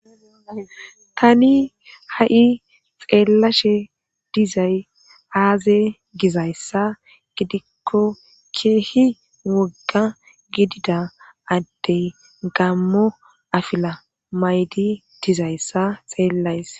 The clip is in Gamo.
tani ha'i xeellashe dizay aaze gizayssa gidikko keehi wogga gidida addey gammo afila maydi dizayssa xeellays